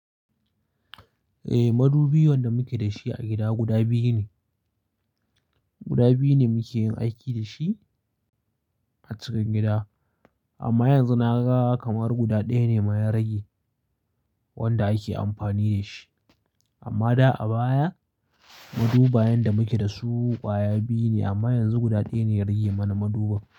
Eh, madubi wanda muke da shi a gida guda biyu ne. Guda biyu ne muke yin aiki da shi a cikin gida, amma yanzu na ga kamar guda ɗaya ne ma ya rage wanda ake amfani da shi. Amma da a baya madubayen da muke da su ƙwaya biyu ne amma yanzu guda ɗaya ne ya rage mana maduban.